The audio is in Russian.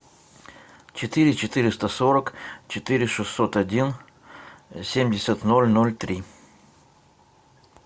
четыре четыреста сорок четыре шестьсот один семьдесят ноль ноль три